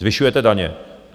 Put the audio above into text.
Zvyšujete daně.